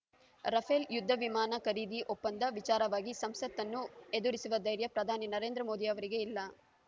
Rafale ಯುದ್ಧ ವಿಮಾನ ಖರೀದಿ ಒಪ್ಪಂದ ವಿಚಾರವಾಗಿ ಸಂಸತ್ತನ್ನು ಎದುರಿಸುವ ಧೈರ್ಯ ಪ್ರಧಾನಿ ನರೇಂದ್ರ ಮೋದಿ ಅವರಿಗೆ ಇಲ್ಲ